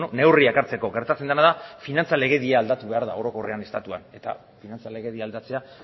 neurriak hartzeko gertatzen dena da finantza legedia aldatu behar dela orokorrean estatuan eta finantza legedia aldatzea